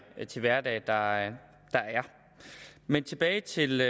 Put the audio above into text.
til hverdag der er men tilbage til